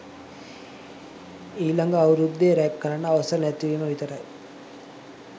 ඊළඟ අවුරුද්දේ රැග් කරන්න අවසර නැති වීම විතරයි